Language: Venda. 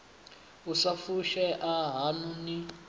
u sa fushea haṋu ni